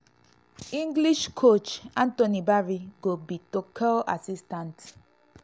english coach anthony barry go be tuchel assistant.